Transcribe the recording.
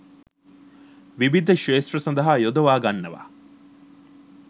විවිධ ක්‍ෂේත්‍ර සඳහා යොදවා ගන්නවා